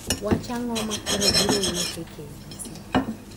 wach ang'o ma koro biro wuok e kbc?